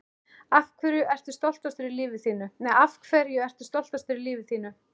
Af hverju ertu stoltastur í lífi þínu?